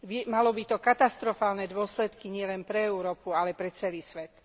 Malo by to katastrofálne dôsledky nielen pre Európu, ale pre celý svet.